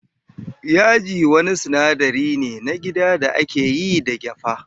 Yaji wani sinadari ne na gida da ake yi da gyafa.